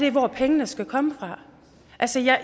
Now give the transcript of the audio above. i hvor pengene skal komme fra